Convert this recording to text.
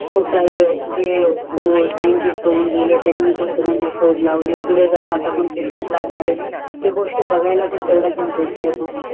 खूप सारे सेन्तीस होऊन गेले त्यांनी कोणते कोणते शोध लावले पुढे कोणते शोध लावणार आहे ते बघायला पण तेवढाच इंटरेस येतो